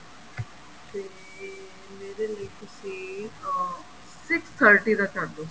ਤੇ ਮੇਰੇ ਲਈ ਤੁਸੀਂ ਅਹ six thirty ਦਾ ਕਰਦੋ